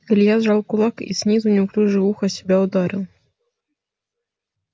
илья сжал кулак и снизу неуклюже в ухо себя ударил